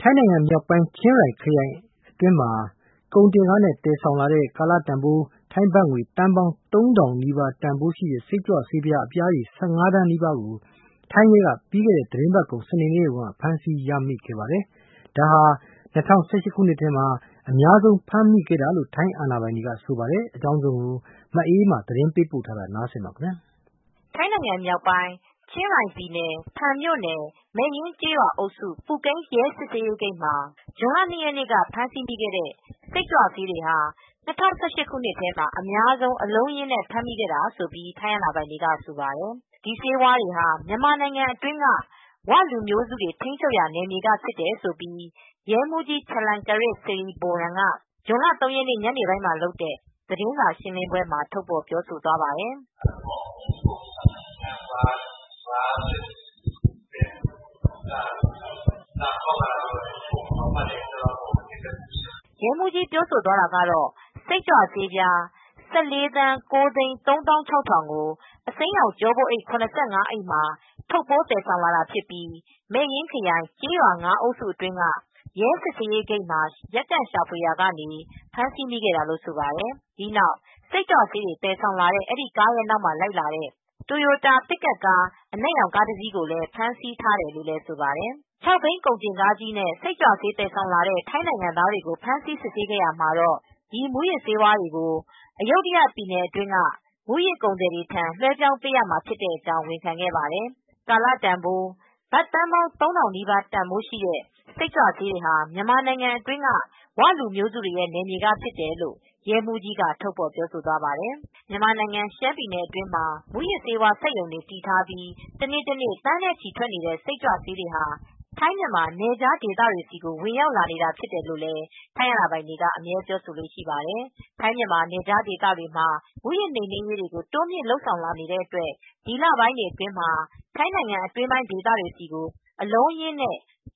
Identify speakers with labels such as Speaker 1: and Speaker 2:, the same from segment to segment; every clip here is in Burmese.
Speaker 1: ထိုင်းနိုင်ငံ မြောက်ပိုင်း၊ ချင်းရိုင်ပြည်နယ်အတွင်း မှာ ကုန်တင်ကားအပြည့် တင်ဆောင်လာတဲ့ ကာလတန်ဖိုး ဘတ်သန်းပေါင်း ၃၀၀၀နီးပါးတန်ဖိုးရှိတဲ့ စိတ်ကြွဆေးပြား ၁၅ သန်းနီးပါးကို စနေနေ့က ဖမ်းဆီးရမိပါတယ်။ ၂၀၁၈ခုနှစ်ထဲမှာ အများဆုံးဖမ်းဆီးမိခဲ့တာလို့ထိုင်းအာဏာပိုင်တွေကဆိုပါတယ်။ ထိုင်းအခြေစိုက် VOA မြန်မာပိုင်းသတင်းထောက် မအေးအေးမာကသတင်းပေးပို့ထားပါတယ်
Speaker 2: ။ ထိုင်း မြောက်ပိုင်း၊ ချင်းရိုင် ပြည်နယ် ၊ဖန် မြို့နယ်၊ မဲယင်းကျေးရွာအုပ်စု ပူကိန်းရဲစစ်ဆေးရေးဂိတ်မှာ ဇွန်လ ၂ရက်နေ့က ဖမ်းမိခဲ့တဲ့ ရာဘ စိတ်ကြွဆေး ဟာ ၂၀၁၈ ခုနှစ် နှစ်ထဲမှာ အများဆုံး အလုံးအရင်းနဲ့ မိခဲ့တာလို့ ထိုင်းအာဏာပိုင်တွေကဆိုပါတယ်။ ဒီဆေးဝါးတွေဟာ မြန်မာနိုင်ငံအတွင်းက ၀ လူမျိုးစုတွေရဲ့ နယ်မြေက ဖြစ်တယ်လို့ရဲမှူးကြီး Chalermkiat Srivoran က ဇွန်လ ၃ရက်နေ့ ညနေပိုင်းမှာလုပ်တဲ့ သတင်းစာရှင်းလင်းပွဲမှာ ထုတ်ဖော်ပြောဆိုသွားပါတယ်။ ရဲမှူးကြီး Chalermkiat Srivoranပြောသွားကတော့ စိတ်ကြွဆေးပြား ၁၄၉၃၆၀၀၀ ကို အစိမ်းရောင် ကျောပိုးအိတ် ၇၅အိတ် ထုတ်ပိုးတာဖြစ်ပြီး မဲယင်ခရိုင် ကျေးရွာ အမှတ် (၅) အုပ်စု အတွင်းက ရဲ စစ်ဆေးရေးဂိတ်မှာ ရပ်တန့်ရှာဖွေရာကနေ ဖမ်းဆီးမိခဲ့တာလို့ဆိုပါတယ်။ ဒီနောက် စိတ်ကြွဆေးတွေ သယ်ဆောင်လာတဲ့ အဲဒီကားနောက်မှာလိုက်လာတဲ့ တိုယိုတာ ပစ်ကပ်ကားအနက်ရောင် ကားတစီးကိုလည်း ဖမ်ဆီးထားတယ်လို့ဆိုပါတယ်။ ခြောက်ဘီးကုန်တင်ကားကြီးနဲ့ စိတ်ကြွဆေး သယ်ဆောင်လာတဲ့ ထိုင်းနိုင်ငံသား တွေကိုဖမ်းဆီး စစ်ဆေးခဲ့ရာမှာ ဒီမူးယစ်ဆေးဝါးတွေကို Ayutthaya ပြည်နယ်အတွင်းက မူးယစ်ကုန်သည်တွေထံ လွဲပြောင်းပေးရမှာဖြစ်တဲ့အကြောင်း ဝန်ခံခဲ့ပါတယ်။ ကာလတန်ဖိုး ဘတ်သန်းပေါင်း ၃၀၀၀ နီပါးရှိ စိတ်ကြွဆေးတွေ ဟာ မြန်မာနိုင်ငံအတွင်းက ၀ လူမျိုးစုတွေရဲ့ နယ်မြေက ဖြစ်တယ်လို့ရဲမှူးကြီး Chalermkiat Srivoran က ထုတ်ဖေါ်ပြောဆိုသွားပါတယ်။။ မြန်မာနိုင်ငံ ရှမ်းပြည်နယ်အတွင်းမှာ မူးယစ်ဆေးဝါး စက်ရုံ တွေ တည်ထားပြီး တနေ့တနေ့သန်းနဲ့ချီထွက်နေတဲ့ စိတ်ကြွဆေးတွေဟာ ထိုင်းမြန်မာနယ်ခြားဒေသတွေဆီကိုဝင်ရောက်လာနေတာဖြစ်တယ်လို့လည်း ထိုင်းအာဏာပိုင်တွေက အမြဲပြောဆိုလေ့ရှိပါတယ် ထိုင်းမြန်မာနယ်ခြားဒေသတွေမှာ မူးယစ်နိမ်နင်းရေးတွေ တိုးမြင့်လုပ်ဆောင်လနေတဲ့အတွက် ဒီလ ပိုင်းတွေအတွင်မှာ ထိုင်းနိုင်ငံ အတွင်းပိုင်း ဒေသတွေဆီ အလုံးအရင်း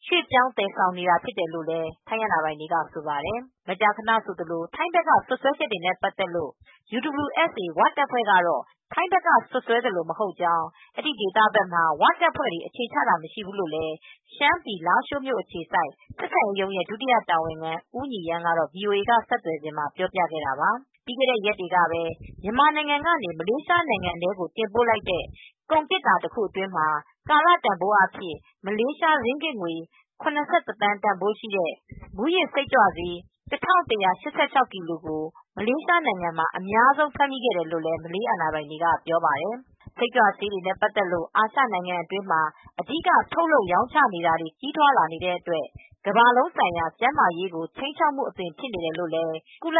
Speaker 2: ရွေပြောင်းသယ်ဆောင် လာနေတာဖြစ်တယ်လို့လည်း ထိုင်းအာဏာပိုင်တွေကဆိုပါတယ် မကြာခနဆိုသလို ထိုင်းဘက်က စွပ်စွဲချက်တွေနဲ့ ပတ်သက်လို့ UWSA ၀ တပ်ဖွဲကတော့ ထိုင်းဘက်ကစွပ်စွဲသလို မဟုတ်ကြောင်း အဲဒီဒေသဘက်မှာ ဝတပ်ဖွဲတွေ အခြေချတာမရှိဘူးလိုလည်း ရှမ်းပြည်လားရှိုးမြို့အခြေစိုက် ဆက်ဆံရေးရုံးရဲ့ ဒုတိယတာဝန်ခံဦး ညီရမ်းကတော့ VOA က ဆက်သွယ်စဉ်မှာ ပြောပြခဲ့တာပါ။ ပြီးခဲ့တဲ့ရက်တွေကပဲ မြန်မာနိုင်ငံကနေ မလေးရှားနိုင်ငံထဲကိုတင်ပိုလိုက်တဲ့ကုန်သေတ္တာ containor တခုအတွင်းမှာ ကာလတန်ဖိုးအားဖြင့် မလေး ရင်းဂစ် ၇၁ သန်း တန်ဖိုးရှိတဲ့ မူးယစ်စိတ်ကြွဆေး ၁၁၈၆ ကီလိုကို မလေးရှားနိုင်ငံမှာ အများဆုံးဖမ်းမီခဲ့တယ်လို့ မလေးအာဏာပိုင်တွေက ပြောပါတယ်။ စိတ်ကြွဆေးနေနဲ့ ပတ်သက်လို့ အာရှနိုင်ငံအတွင်းမှာ အဓိက ထုတ်လုပ်ရောင်းချနေတာတွေကြီးထွားလာနေတဲ့အတွက် ကမ္ဘာလုံးဆိုင်ရာ ကျန်းမာရေးကိုခြိမ်းခြောက်မူအသွင်ဖြစ်နေတယ်လိုလည်း ကုလ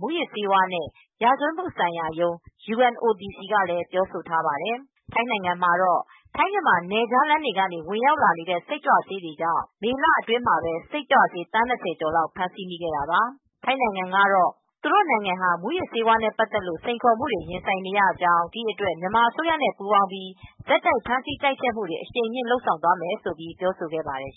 Speaker 2: မူးယစ်ဆေးဝါးနဲ့ ရာဇဝတ်မူဆိုင်ရာရုံး UNODC ကလည်းပြောဆိုထားပါတယ်။ ထိုင်းနိုင်ငံမှာတော့ ထိုင်း-မြန်မာနယ်စပ်လမ်းတွေကနေ ဝင်ရောက်လာနေတဲစိတ်ကြွဆေးတွေကြောင် ့ မေလ အတွင်းမှာပဲ စိတ်ကြွဆေး သန်း ၂၀ကျော်လောက်ဖမ်းဆီးခဲ့တာပါ ထိုင်းနိုင်ငံကတော့ သူတို့နိုင်ငံဟာမူယစ်ဆေးဝါးနဲ့ ပတ်သက်လို့စိန်ခေါ်မူတွေရင်ဆိုင်နေရတယ် ဒီအတွက် မြန်မာအစိုးရနဲပူးပေါင်းပြီး ဆက်တိုက်ဖမ်းဆီးတိုက်ဖျက်မူတွေ အရှိန်မြှင့်လုပ်ဆောင်သွားမယ်လို့ ပြောဆိုခဲ့ပါတယ်